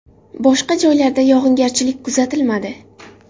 Boshqa joylarda yog‘ingarchilik kuzatilmadi.